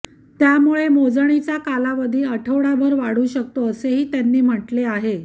त्यामुळे मोजणीचा कालावधी आठवडाभर वाढू शकतो असेही त्यांनी म्हटले आहे